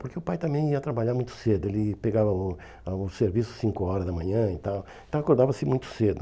Porque o pai também ia trabalhar muito cedo, ele pegava o a o serviço cinco horas da manhã e tal, então acordava-se muito cedo.